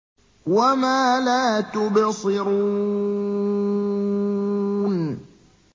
وَمَا لَا تُبْصِرُونَ